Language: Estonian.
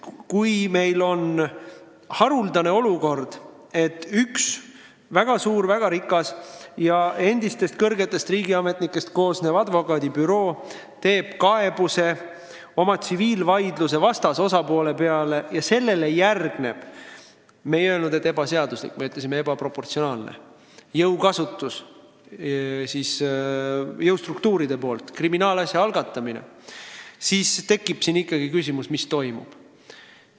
Kui meil on haruldane olukord, et üks väga suur, väga rikas ja endistest kõrgetest riigiametnikest koosnev advokaadibüroo esitab kaebuse oma tsiviilvaidluse vastasest osapoole peale ja sellele järgneb – me ei öelnud, et ebaseaduslik, me ütlesime, et ebaproportsionaalne – jõustruktuuride jõukasutus, kriminaalasja algatamine, siis tekib küsimus, mis toimub.